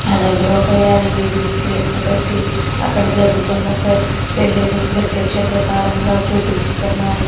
అలాగే ఒక ఏడు ఏడు స్క్రీన్ లు పెట్టి అక్కడ జరుగుతున్న పెళ్లిని ప్రత్యక్ష ప్రసారం గా చూపిస్తున్నారు